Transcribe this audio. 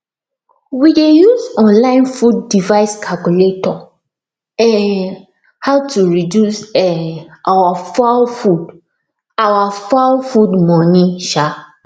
we dey use online food device calculator um how to reduce um our fowl food our fowl food money um